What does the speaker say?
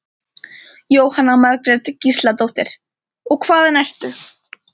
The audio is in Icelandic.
Jóhanna Margrét Gísladóttir: Og hvaðan ertu?